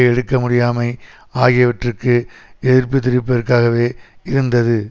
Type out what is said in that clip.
எடுக்க முடியாமை ஆகியவற்றுக்கு எதிர்ப்பு தெரிவிப்பபதர்காகவே இருந்தது